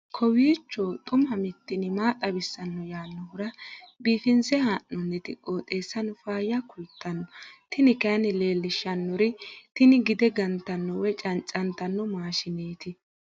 kowiicho xuma mtini maa xawissanno yaannohura biifinse haa'noonniti qooxeessano faayya kultanno tini kayi leellishshannori tini gide gantanno woy cancantanno maashshineeti